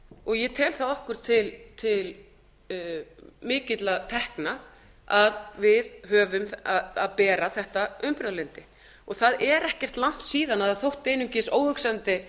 og ég tel það okkur til mikilla tekna að við höfum að bera þetta umburðarlyndi og það er ekki langt síðan það þótti einungis óhugsandi